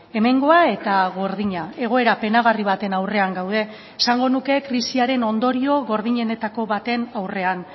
hemengoa eta gordina egoera penagarri baten aurrean gaude esango nuke krisiaren ondorio gordinenetako baten aurrean